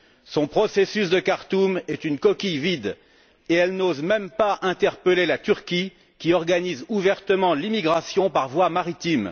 Son processus de Khartoum est une coquille vide et elle n'ose même pas interpeller la Turquie qui organise ouvertement l'immigration par voie maritime.